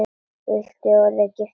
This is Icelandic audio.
Vill hún orðið giftast þér?